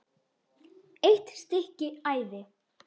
EITT STYKKI ÆVI